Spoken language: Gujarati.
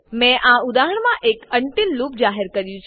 મેં આ ઉદાહરણમાં એક અનટિલ લૂપ જાહેર કર્યું છે